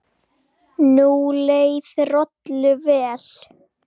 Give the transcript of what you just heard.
Nú leið Rolu vel.